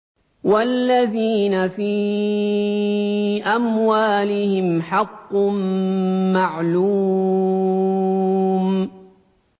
وَالَّذِينَ فِي أَمْوَالِهِمْ حَقٌّ مَّعْلُومٌ